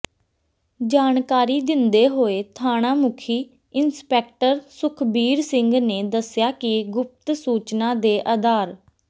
ਜਾਣਕਾਰੀ ਦਿੰਦੇ ਹੋਏ ਥਾਣਾ ਮੁਖੀ ਇੰਸਪੈਕਟਰ ਸੁਖਬੀਰ ਸਿੰਘ ਨੇ ਦੱਸਿਆ ਕਿ ਗੁਪਤ ਸੂਚਨਾ ਦੇ ਆਧਾਰ